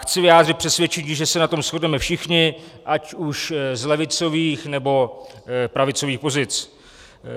Chci vyjádřit přesvědčení, že se na tom shodneme všichni, ať už z levicových, nebo pravicových pozic.